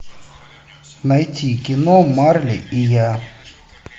найти кино марли и я